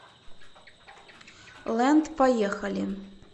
лэнд поехали